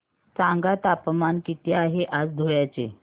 सांगा तापमान किती आहे आज धुळ्याचे